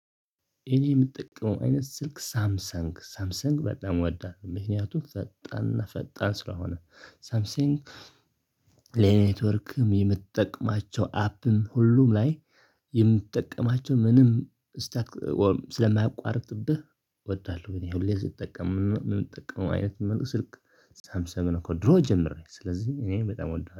እኔ የምጠቀመው አይነት ስልክ ሳምሰንግ ሳምሰንግ በጣም ወዳለው፤ ምክንያቱም ፈጣንና ፈጣን ስለሆነ። ሳምሰንግ፣ ለኔትወርክም፣ የምትጠቀማቸው አፕም፣ ሁሉም ላይ የምትጠቀማቸው ምንም ስታክ ስለማያቋርጥብህ ወዳለሁ ብለህ ሁሌ ስትጠቀም የምትጠቀመው አይነት ሙሉ ስልክ ሳምስንግ እኮ ከድሮ ጀምሬ ስለዚህ እኔ በጣም እወዳለሁ